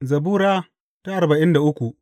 Zabura Sura arba'in da uku